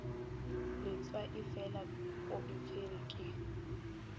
letswaifela go e swerwe ke